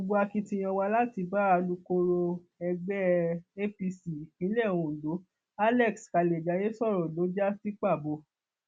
gbogbo akitiyan wa láti bá alūkkoro ẹgbẹ apc ìpínlẹ ondo alex kalejaye sọrọ ló já sí pàbó